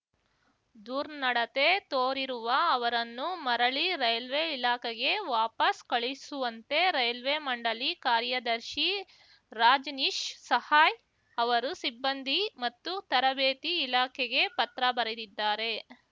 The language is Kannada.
ದುರ್ನಡತೆ ತೋರಿರುವ ಅವರನ್ನು ಮರಳಿ ರೈಲ್ವೆ ಇಲಾಖೆಗೆ ವಾಪಸ್‌ ಕಳುಹಿಸುವಂತೆ ರೈಲ್ವೆ ಮಂಡಳಿ ಕಾರ್ಯದರ್ಶಿ ರಾಜನೀಶ್‌ ಸಹಾಯ್‌ ಅವರು ಸಿಬ್ಬಂದಿ ಮತ್ತು ತರಬೇತಿ ಇಲಾಖೆಗೆ ಪತ್ರ ಬರೆದಿದ್ದಾರೆ